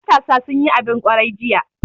Matasa sun yi abin kwarai jiya.